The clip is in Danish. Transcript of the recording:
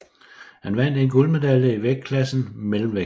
Han vandt en guldmedalje i vægtklassen mellemvægt